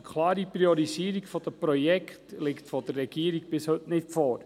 Eine klare Priorisierung der Projekte liegt vonseiten der Regierung bis heute nicht vor.